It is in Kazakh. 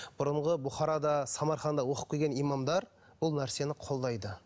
бұрынғы бұқарада самарқанда оқып келген имамдар бұл нәрсені қолдайды